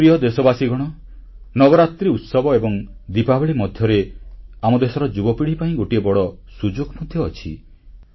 ମୋର ପ୍ରିୟ ଦେଶବାସୀଗଣ ନବରାତ୍ରିଉତ୍ସବ ଏବଂ ଦିପାବଳୀ ମଧ୍ୟରେ ଆମ ଦେଶର ଯୁବପିଢ଼ି ପାଇଁ ଗୋଟିଏ ବଡ଼ ସୁଯୋଗ ମଧ୍ୟ ଅଛି